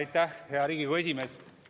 Austatud kolleegid!